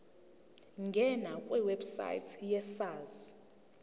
ngena kwiwebsite yesars